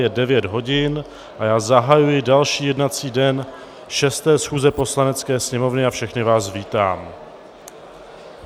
Je 9 hodin a já zahajuji další jednací den šesté schůze Poslanecké sněmovny a všechny vás vítám.